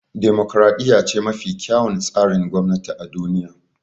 Demokaraɗiya ce mafi kyawun tsarin gwamnati a duniya